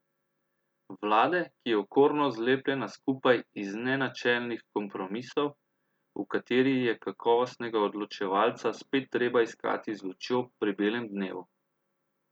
Vlade, ki je okorno zlepljena skupaj iz nenačelnih kompromisov, v kateri je kakovostnega odločevalca spet treba iskati z lučjo pri belem dnevu.